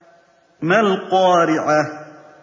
مَا الْقَارِعَةُ